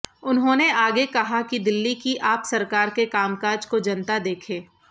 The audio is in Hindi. उन्होंने आगे कहा कि दिल्ली की आप सरकार के कामकाज को जनता देखे